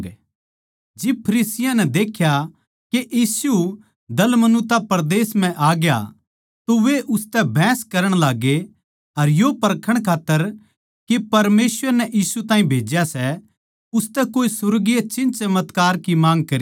जब फरिसियाँ नै देख्या कै यीशु दलमनूता परदेस म्ह आ ग्या तो वे उसतै बहस करण लाग्गे अर यो परखण खात्तर के परमेसवर नै यीशु ताहीं भेज्या सै उसतै कोए सुर्गीय चिन्हचमत्कार की माँग करी